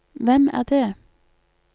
hvem er det